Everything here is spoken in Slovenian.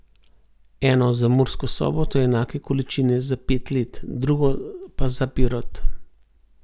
Eno za Mursko Soboto enake količine za pet let, drugo pa za Pirot.